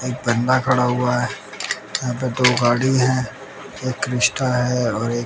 एक बंदा खड़ा हुआ है यहां पे दो गाड़ी है एक क्रिस्टा है और एक--